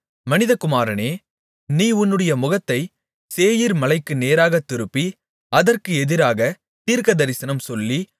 மனிதகுமாரனே நீ உன்னுடைய முகத்தை சேயீர்மலைக்கு நேராகத் திருப்பி அதற்கு எதிராக தீர்க்கதரிசனம் சொல்லி